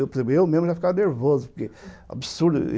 Eu mesmo já ficava nervoso, porque era absurdo.